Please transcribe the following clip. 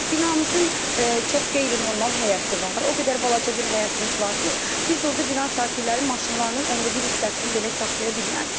Binamızın çox qeyri-normal həyəti var, o qədər balaca bir həyətimiz var ki, biz orda bina sakinləri maşınlarının onda bir hissəsini belə saxlaya bilməz.